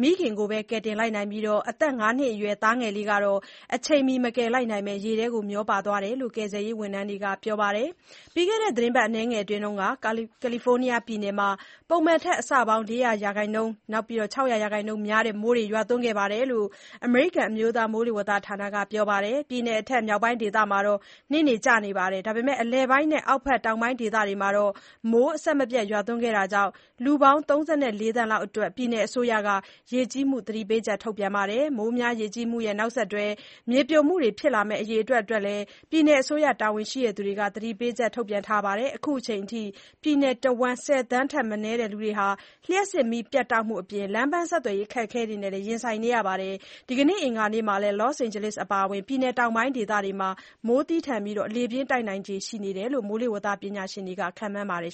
မိခင်ကိုဘဲ ကယ်တင်လိုက်နိုင်ပြီး အသက် ၅ နှစ်အရွယ် သားငယ်လေးကတော့ အချိန်မီမကယ်လိုက်နိုင်ဘဲ ရေထဲမျောပါသွားတယ်လို့ ကယ်ဆယ်ရေးဝန်ထမ်းတွေက ပြောပါတယ်။ ပြီးခဲ့တဲ့ သီတင်းပတ်အနည်းငယ်အတွင်း ကာလီဖိုးနီးယားပြည်နယ်မှာ ပုံမှန်ထက် အဆပေါင်း ၄၀၀% ကနေ ၆၀၀% များတဲ့ မိုးရွာသွန်းခဲ့တယ်လို့ အမေရိကန် အမျိုးသားမိုးလေဝသဌာနက ပြောပါတယ်။ ပြည်နယ်အထက် မြောက်ပိုင်းဒေသမှာ နှင်းတွေကျပြီး အလယ်ပိုင်းနဲ့ အောက်ဘက် တောင်ပိုင်းဒေသတွေမှာ မိုးအဆက်မပြတ် ရွာခဲ့တာကြောင့် လူပေါင်း ၃၄ သန်းလောက်အတွက် ပြည်နယ်အစိုးရက ရေကြီးမှုသတိပေးချက် ထုတ်ပြန်ထားပါတယ်။ မိုးများ ရေကြီးမှုရဲ့ နောက်ဆက်တွဲအဖြစ်နဲ့ မြေပြိုမှုတွေ ဖြစ်ပေါ်မယ့်အရေးအတွက်လည်း ပြည်နယ်အစိုးရ တာဝန်ရှိသူတွေက သတိပေးချက် ထုတ်ပြန်ထားပါတယ်။ အခုချိန်ထိ ပြည်နယ်တဝန်း ၁၀ သန်းထက်မနည်းဟာ လျှပ်စစ်မီးပြတ်တောက်မှုအပြင် လမ်ပန်း ဆက်သွယ်ရေးအခက်အခဲတွေနဲ့လည်း ရင်ဆိုင်နေကြရပါတယ်။ ဒီကနေ့ အင်္ဂါနေ့မှာလည်း လော့စ်အိန်ဂျယ်လိစ် (Los Angeles) အပါအဝင် ပြည်နယ်တောင်ပိုင်းဒေသတွေမှာ မိုးသည်းပြီး လေပြင်းတိုက်ခတ်နိုင်ခြေရှိတယ်လို့ မိုးဇလပညာရှင်တွေက ခန့်မှန်းထားပါတယ်